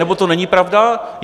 Nebo to není pravda?